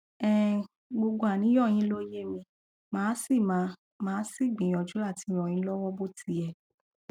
um gbogbo àníyàn yín ló yé mi màá sì mi màá sì gbìyànjú àti ràn yín lọwọ bó ti yẹ